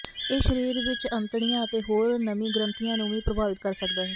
ਇਹ ਸਰੀਰ ਵਿੱਚ ਅੰਤੜੀਆਂ ਅਤੇ ਹੋਰ ਨਮੀ ਗ੍ਰੰਥੀਆਂ ਨੂੰ ਵੀ ਪ੍ਰਭਾਵਿਤ ਕਰ ਸਕਦਾ ਹੈ